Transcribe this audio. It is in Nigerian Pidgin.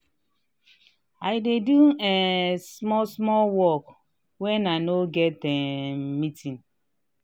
i dey do um small small work wen i no get um meeting.